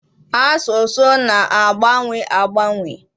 Asụsụ na-agbanwe agbanwe.